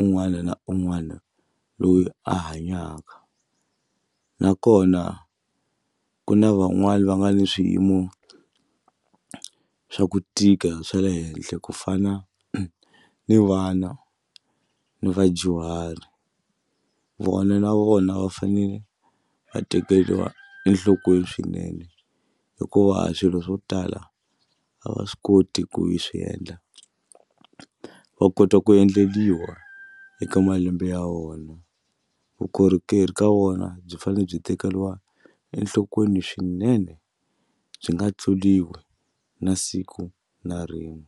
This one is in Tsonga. un'wana na un'wana loyi a hanyaka nakona ku na van'wani va nga ni swiyimo swa ku tika swa le henhla ku fana ni vana ni vadyuhari vona na vona va fanele va tekeriwa enhlokweni swinene hikuva a swilo swo tala a va swi koti ku yi swiendla va kota ku endleriwa eka malembe ya vona vukorhokeri ka vona byi fane byi tekeriwa enhlokweni swinene byi nga tluriwi na siku na rin'we.